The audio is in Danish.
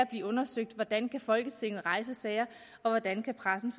blive undersøgt hvordan folketinget kan rejse sager og hvordan pressen